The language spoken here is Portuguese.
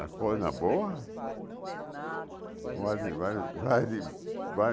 A coisa boa, vale vale vale